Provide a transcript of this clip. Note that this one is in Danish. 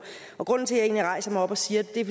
grunden til at jeg egentlig rejser mig op og siger det er